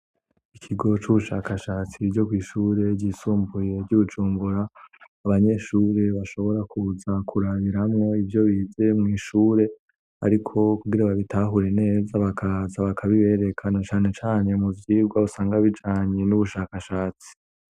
Ikigo c'ubushakashatsi ryo kw'ishure ryisumbuye ry'i Bujumbura, abanyeshuri bashobora kuza kurabiramwo ivyo bize mw' ishure ariko kugira babitahure neza bakaza bakabibereka na cane cane mu vyirwa usanga bijanye n'ubushakashatsi.